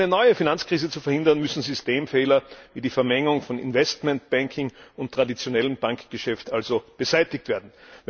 Um eine neue Finanzkrise zu verhindern, müssen Systemfehler wie die Vermengung von Investmentbanking und traditionellem Bankgeschäft beseitigt werden.